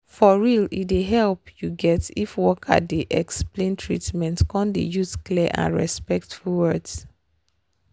for real e dey help you get if worker dey explain treatment come dey use clear and respectful words